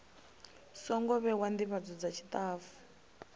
songo vhewa ndivhadzo dza tshitafu